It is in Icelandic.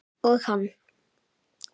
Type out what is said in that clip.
Og hann.